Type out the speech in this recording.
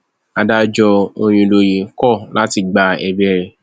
adájọ òyìnlóye kọ láti gba ẹbẹ rẹ